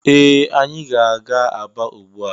Ee! Anyị ga-aga Aba ugbu a.